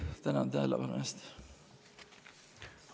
Tänan tähelepanu eest!